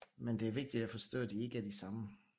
Men det er vigtigt at forstå at de ikke er det samme